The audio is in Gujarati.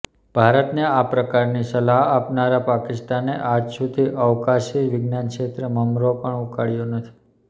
ભારતને આ પ્રકારની સલાહ આપનારા પાકિસ્તાને આજ સુધી અવકાશી વિજ્ઞાન ક્ષેત્રે મમરો પણ ઉકાળ્યો નથી